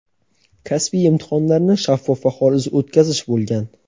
kasbiy imtihonlarni shaffof va xolis o‘tkazish bo‘lgan.